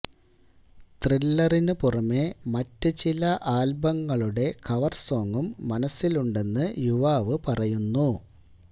ത്രില്ലറിന് പുറമേ മറ്റ് ചില ആൽബങ്ങളുടെ കവർ സോങും മനസ്സിലുണ്ടെന്നും യുവാവ് പറയുന്നു